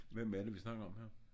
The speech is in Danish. Hvem er det vi snakker om her